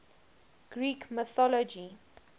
greek mythology